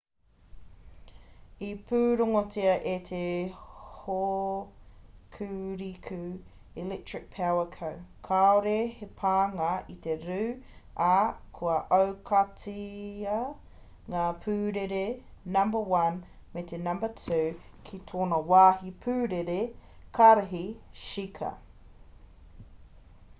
i pūrongotia e te hokuriku electric power co kāore he pānga i te rū ā kua aukatia ngā pūrere number 1 me te number 2 ki tōna wāhi pūrere karihi shika